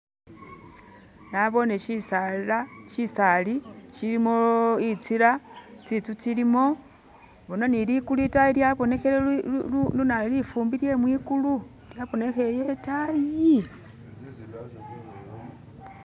nabone shisaala shisaali shilimo itsila tsitsu tsilimu bona itayi lifumbi lyemwikulu lyaboneheye itayi